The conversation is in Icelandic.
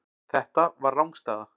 Þetta var rangstæða.